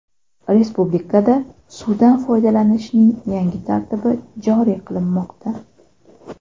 Respublikada suvdan foydalanishning yangi tartibi joriy qilinmoqda.